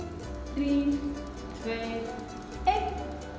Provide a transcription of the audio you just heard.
þrír tveir einn